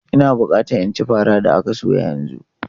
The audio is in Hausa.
Ina bukata in ci farar da aka soya yanzu!